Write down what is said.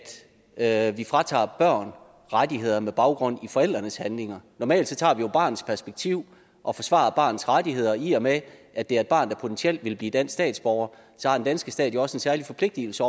at vi fratager børn rettigheder med baggrund i forældrenes handlinger normalt tager vi barnets perspektiv og forsvarer barnets rettigheder og i og med at det er et barn der potentielt ville blive dansk statsborger har den danske stat jo også en særlig forpligtigelse